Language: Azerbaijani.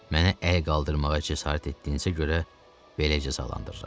Mənə əy qaldırmağa cəsarət etdiyinizə görə belə cəzalandırıram.